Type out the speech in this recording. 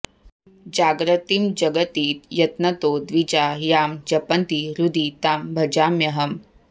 जाग्रतीं जगति यत्नतो द्विजा यां जपन्ति हृदि तां भजाम्यहम्